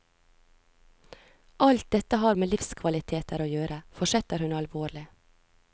Alt dette har med livskvaliteter å gjøre, fortsetter hun alvorlig.